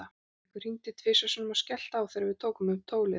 Einhver hringdi tvisvar sinnum og skellti á þegar við tókum upp tólið.